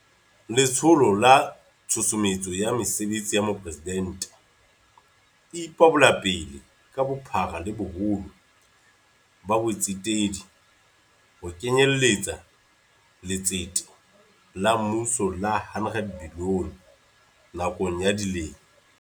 Letsholo la Tshusumetso ya Mesebetsi ya Mopresidente e ipabolapele ka bophara le boholo ba bo tsetedi, ho kenyeletsa letsete la mmuso la R100 bilione nakong ya dilemo